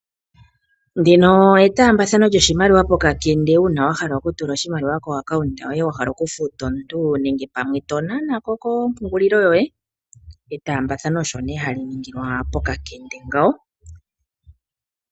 Ndino etaambathano lyoshimaliwa pokakende uuna wa hala okutula oshimaliwa komayalulo goye gombaanga, wa hala okufuta omuntu, nenge pamwe to nana ko kompungulilo yoye. Etaambathano ohali ningilwa ihe pokakende.